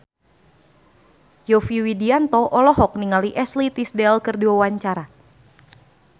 Yovie Widianto olohok ningali Ashley Tisdale keur diwawancara